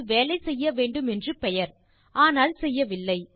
அது வேலை செய்யவேண்டும் என்று பெயர் ஆனால் செய்யவில்லை